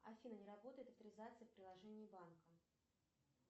афина не работает авторизация в приложении банка